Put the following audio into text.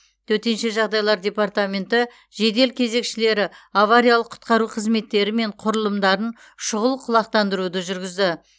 төтенше жағдайлар департаменті жедел кезекшілері авариялық құтқару қызметтері мен құрылымдарын шұғыл құлақтандыруды жүргізді